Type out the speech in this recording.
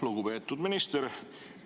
Lugupeetud minister!